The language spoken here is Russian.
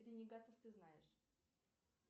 ренегатов ты знаешь